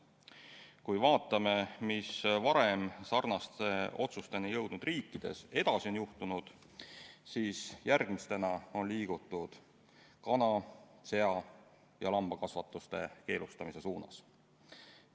Kui me vaatame, mis on sarnaste otsusteni jõudnud riikides edasi juhtunud, siis järgmisena on liigutud kana‑, sea‑ ja lambakasvatuse keelustamise suunas.